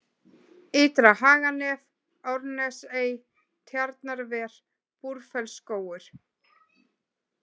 Ytra-Haganef, Árnesey, Tjarnarver, Búrfellsskógur